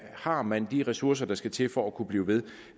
har man de ressourcer der skal til for at kunne blive ved